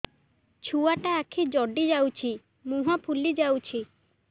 ଛୁଆଟା ଆଖି ଜଡ଼ି ଯାଉଛି ମୁହଁ ଫୁଲି ଯାଉଛି